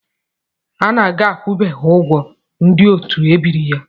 Anaga akwụbeghị ụgwọ ndị otu ebiri ya.